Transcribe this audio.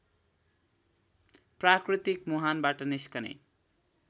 प्राकृतिक मुहानबाट निस्कने